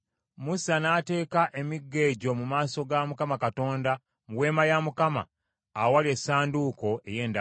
Musa n’ateeka emiggo egyo mu maaso ga Mukama Katonda mu Weema ya Mukama ey’Endagaano.